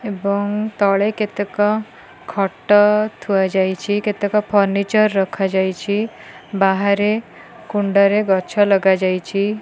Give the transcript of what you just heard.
ଏବଂ ତଳେ କେତେକ ଖଟ ଥୁଆ ଯାଇଚି କେତେକ ଫର୍ଣିଚର ରଖା ଯାଇଚି ବାହାରେ କୁଣ୍ଡରେ ଗଛ ଲଗାଯାଇଚି।